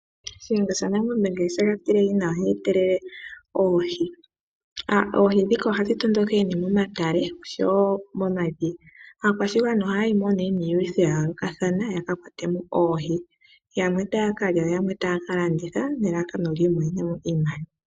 Shiyenga shaNangombe ngele shega tilehi nawa, ohe etelele oohi. Oohi ndhika ohadhi tondokele momatale oshowoo momadhiya. Aakwashigwana ohaya yimo niilwitho yayoolokathana , yaka kwatemo oohi . Yamwe ohaya ka lya, yamwe etaya landitha nelalakano yiimonenemo iimaliwa.